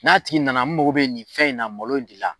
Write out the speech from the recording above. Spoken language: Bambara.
N'a tigi nana n mago bɛ nin fɛn in na, malo in ne la